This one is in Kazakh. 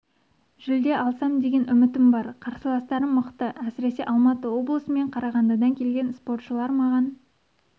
жүлде алсам деген үмітім бар қарсыластарым мықты әсіресе алматы облысы мен қарағандыдан келген спортшылар маған